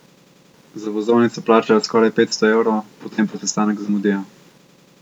Za vozovnico plačajo skoraj petsto evrov, potem pa sestanek zamudijo.